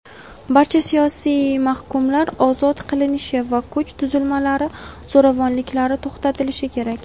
barcha siyosiy mahkumlar ozod qilinishi va kuch tuzilmalari zo‘ravonliklari to‘xtatilishi kerak.